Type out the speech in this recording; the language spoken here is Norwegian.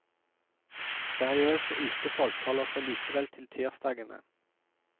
Seriøse utefolk holder seg likevel til tirsdagene.